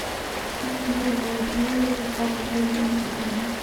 сбер владеешь багвалинским